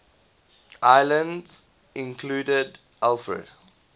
islands included alfred